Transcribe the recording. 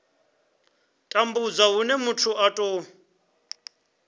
tambudzwa hune muthu a tou